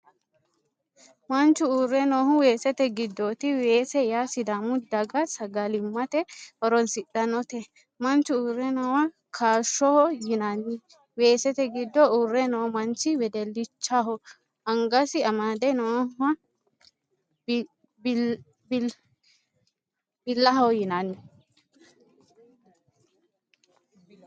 Manchu uurre noohu weesete giddooti. Weese yaa sidaamu daga sagalimite horosidhanote. manchu uurre noowa kaashshoho yinanni. weesete giddo uurre noo manchi wedellichaho. angasi amade nooha bilbilaho yinanni.